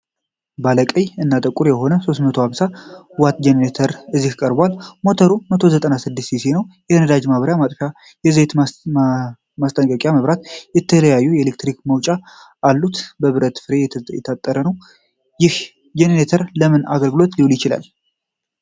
ባለ ቀይ እና ጥቁር የሆነ 3250 ዋት ጄኔሬተር እዚህ ቀርቧል። ሞተሩ 196 ሲሲ ነው። የነዳጅ ማብሪያና ማጥፊያ፣ የዘይት ማስጠንቀቂያ መብራትና የተለያዩ የኤሌክትሪክ መውጫዎች አሉት። በብረት ፍሬም የታጠረ ነው። ይህ ጄኔሬተር ለምን አገልግሎት ሊውል ይችላል?